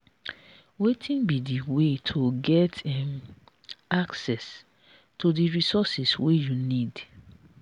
wetin be di way to get um access to di resources wey you need?